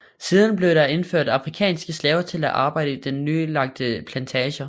Siden blev der indført afrikanske slaver til at arbejde i de nyanlagte plantager